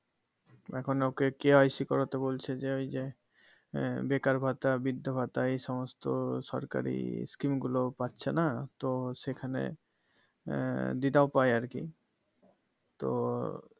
এখন ওকে KYC করতে বলছে যে ওই যে আহ বেকার ভাতা বৃদ্ধ ভাতা এই সমস্ত সরকারি scheme গুলো পাচ্ছেনা তো সেখানে এর দিদাও পায় আরকি তো